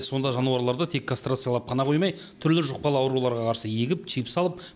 сонда жануарларды тек кастрациялап қана қоймай түрлі жұқпалы ауруларға қарсы егіп чип салып